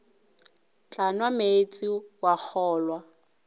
tla nwa meetse wa kgolwa